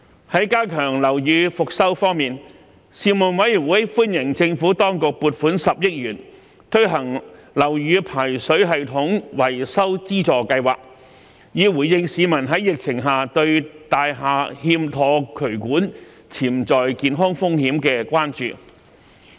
在加強樓宇復修方面，事務委員會歡迎政府當局撥款10億元推行樓宇排水系統維修資助計劃，以回應疫情下市民對大廈內欠妥渠管的潛在健康風險的關注。